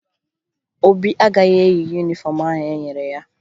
Obi agaghị eyi yunifọmụ ahụ e nyere ya